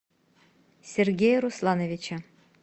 сергея руслановича